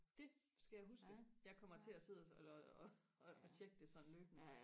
det skal jeg huske jeg kommer til og sidde og og og tjekke det løbende